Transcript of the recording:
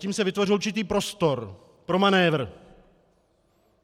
Tím se vytvořil určitý prostor pro manévr.